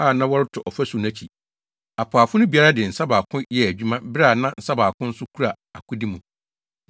na wɔreto ɔfasu no akyi. Apaafo no biara de ne nsa baako yɛɛ adwuma bere a nsa baako nso kura akode mu,